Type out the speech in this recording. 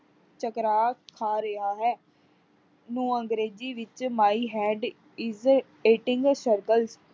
ਚਕਰਾ ਖਾ ਰਿਹਾ ਹੈ ਨੂੰ ਅੰਗਰੇਜ਼ੀ ਵਿਚ my head is eating circle